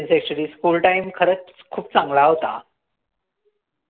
actuallyschooltime खरंच खूप चांगला होता